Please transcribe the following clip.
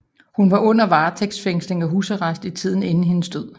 Hun var under varetægtsfængsling og i husarrest i tiden inden hendes død